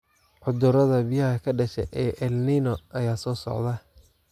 Cudurada biyaha ka dhasha El Niño ayaa soo socda.